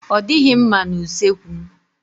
Ọ dịghị mma na usekwu.